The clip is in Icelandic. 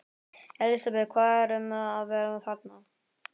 Elísabet, hvað er um að vera þarna?